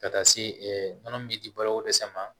Ka taa se nɔnɔ min bɛ di baloko dɛsɛ ma